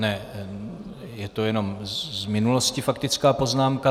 Ne, je to jenom z minulosti faktická poznámka.